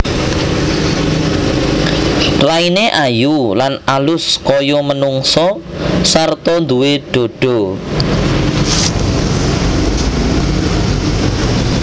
Raine ayu lan alus kaya manungsa sarta duwé dhadha